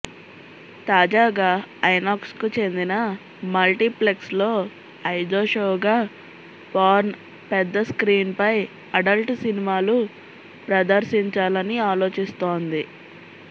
తాజాగా ఐనాక్స్ కు చెందిన మల్టీప్లెక్స్ల్లో ఐదో షోగా పోర్న్ పెద్ద స్క్రీన్ పై అడల్డ్ సినిమాలు ప్రదర్శించాలని ఆలోచిస్తోంది